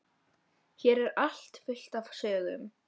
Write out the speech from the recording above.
Hér er allt fullt af sögum.